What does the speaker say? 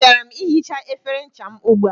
Emechara m ihicha efere ncha m ugbua